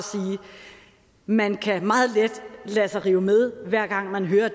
man meget let kan lade sig rive med hver gang man hører